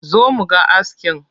Zo mu ga askin!